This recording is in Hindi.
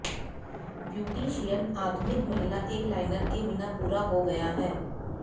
ब्यूटीशियन आधुनिक महिला एक लाइनर के बिना पूरा हो गया है